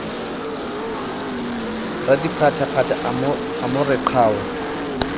radiphaphatha a mo re qhau